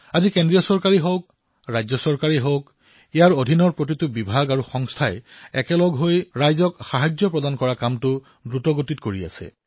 আজি কেন্দ্ৰীয় চৰকাৰেই হওক বাবে ৰাজ্য চৰকাৰেই হওক এওঁলোকৰ প্ৰতিটো বিভাগে সাহায্যৰ বাবে ঐক্যৱদ্ধভাৱে সম্পূৰ্ণ ক্ষীপ্ৰতাৰে কাম কৰি আছে